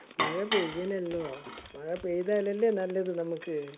മഴ പെയ്‌ണല്ലോ. മഴ പെയ്തല്ലലെ നല്ലത് നമ്മുക്ക്.